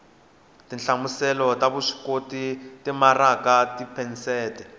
tinhlamuselo ta vuswikoti timaraka tiphesente